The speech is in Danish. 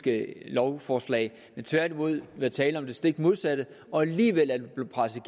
lovforslag men tværtimod været tale om det stik modsatte og alligevel er det blevet presset